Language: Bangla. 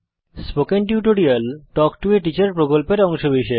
spoken tutorial talk to a teacher প্রকল্পের অংশবিশেষ